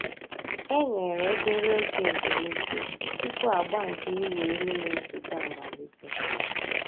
E nyèrè òbèrè ògè èzùmìké túpù àgbà nke ị̀wụ̀ èlù nà-èsọ̀té àmàlítè.